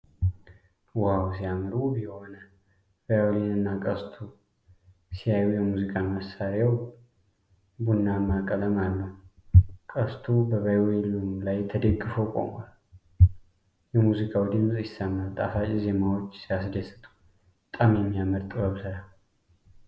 ዋው ሲያምር! ውብ የሆነ ቫዮሊንና ቀስቱ ሲያዩ! የሙዚቃ መሣሪያው ቡናማ ቀለም አለው። ቀስቱ በቫዮሊኑ ላይ ተደግፎ ቆሟል። የሙዚቃው ድምፅ ይሰማል። ጣፋጭ ዜማዎች ሲያስደስቱ! በጣም የሚያምር የጥበብ ሥራ።